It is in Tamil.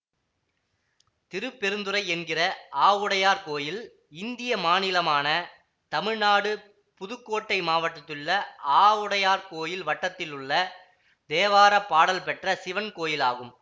திருப்பெருந்துறை என்கிற ஆவுடையார்கோயில் இந்திய மாநிலமான தமிழ் நாடு புதுக்கோட்டை மாவட்டத்திலுள்ள ஆவுடையார்கோயில் வட்டத்திலுள்ள தேவார பாடல் பெற்ற சிவன் கோயில் ஆகும்